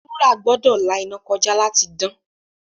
Wúrà gbọ́dọ̀ la iná kọjá láti dán.